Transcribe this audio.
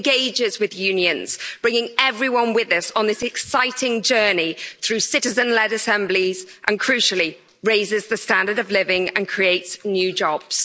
It engages with unions, bringing everyone with us on this exciting journey through citizen led assemblies and, crucially, raises the standard of living and creates new jobs.